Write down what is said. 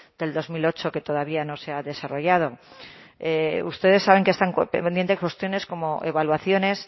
del dos mil ocho que todavía no se ha desarrollado ustedes saben que están pendientes cuestiones como evaluaciones